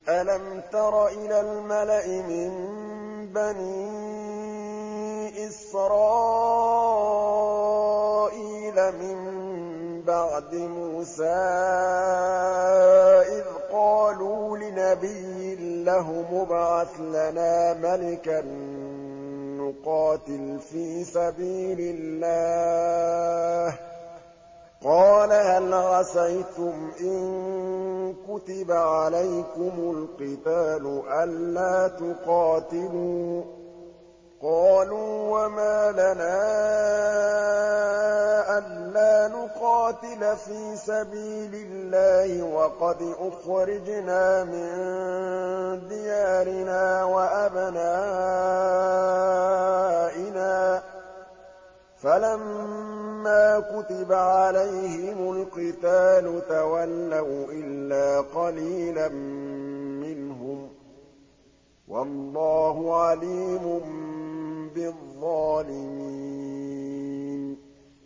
أَلَمْ تَرَ إِلَى الْمَلَإِ مِن بَنِي إِسْرَائِيلَ مِن بَعْدِ مُوسَىٰ إِذْ قَالُوا لِنَبِيٍّ لَّهُمُ ابْعَثْ لَنَا مَلِكًا نُّقَاتِلْ فِي سَبِيلِ اللَّهِ ۖ قَالَ هَلْ عَسَيْتُمْ إِن كُتِبَ عَلَيْكُمُ الْقِتَالُ أَلَّا تُقَاتِلُوا ۖ قَالُوا وَمَا لَنَا أَلَّا نُقَاتِلَ فِي سَبِيلِ اللَّهِ وَقَدْ أُخْرِجْنَا مِن دِيَارِنَا وَأَبْنَائِنَا ۖ فَلَمَّا كُتِبَ عَلَيْهِمُ الْقِتَالُ تَوَلَّوْا إِلَّا قَلِيلًا مِّنْهُمْ ۗ وَاللَّهُ عَلِيمٌ بِالظَّالِمِينَ